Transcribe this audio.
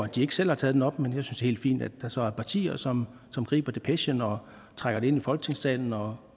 de ikke selv har taget op men jeg synes helt fint at der så er partier som griber depechen og trækker den ind i folketingssalen og